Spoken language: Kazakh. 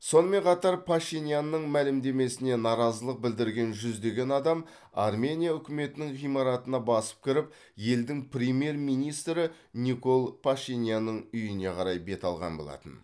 сонымен қатар пашинянның мәлімдемесіне наразылық білдірген жүздеген адам армения үкіметінің ғимаратына басып кіріп елдің премьер министрі никол пашинянның үйіне қарай бет алған болатын